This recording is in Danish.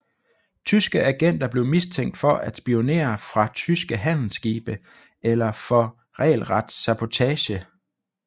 Tyske agenter blev mistænkt for at spionere fra tyske handelsskibe eller for regelret sabotage